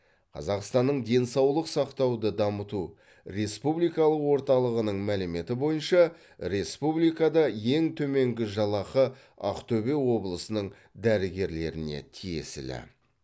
қазақстанның денсаулық сақтауды дамыту республикалық орталығының мәліметі бойынша республикада ең төменгі жалақы ақтөбе облысының дәрігерлеріне тиесілі